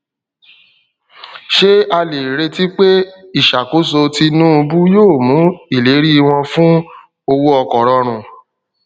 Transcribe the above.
ṣé a lè retí pé ìṣàkóso tinúubú yóò mú ìlérí wọn fún owó ọkọ rọrùn